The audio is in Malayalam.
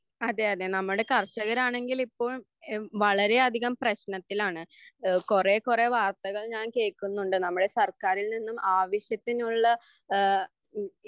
അതെ അതെ നമ്മുടെ കര്ഷകരാണെങ്കിലിപ്പോൾ വളരെയധികം പ്രശ്നത്തിലാണ് കുറെ കുറെ വാർത്തകൾ ഞാൻ കേൾക്കുന്നുണ്ട് നമ്മുടെ സർക്കാറിൽ നിന്നും ആവശ്യത്തിനുള്ള